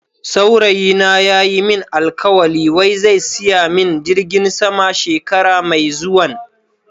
Saurayi na ya Yi min alkawali wai zai siya min jirgin sama shekara Mai zuwan.